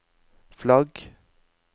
flagg